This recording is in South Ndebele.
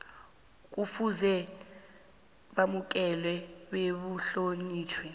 kufuze bamukelwe bebuhlonitjhwe